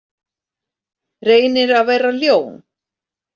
Reynir að vera ljón.